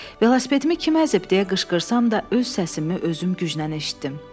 Velosipedimi kim əzib deyə qışqırsam da öz səsimi özüm güclə eşitdim.